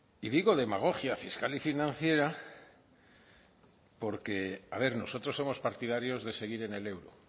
y digo demagogia fiscal y financiera porque a ver nosotros somos partidarios de seguir en el euro